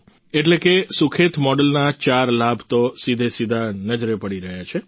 એટલે કે સુખેત મોડલના ચાર લાભ તો સીધેસીધા નજરે પડી રહ્યા છે